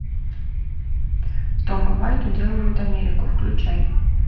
том и вайт уделывают америку включай